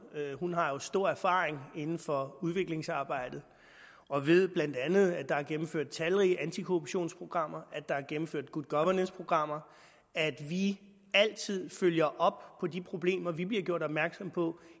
hun har jo stor erfaring inden for udviklingsarbejdet og ved bla at der er gennemføt talrige antikorruptionsprogrammer at der er gennemført good governess programmer at vi altid følger op på de problemer vi bliver gjort opmærksom på